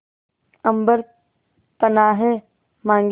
अम्बर पनाहे मांगे